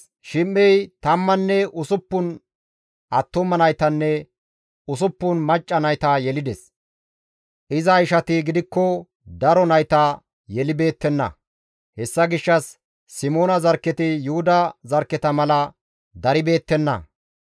Shim7ey tammanne usuppun attuma naytanne usuppun macca nayta yelides; iza ishati gidikko daro nayta yelibeettenna; hessa gishshas Simoona zarkketi Yuhuda zarkketa mala daribeettenna.